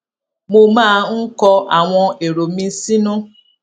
mo máa ń kọ àwọn èrò mi sínú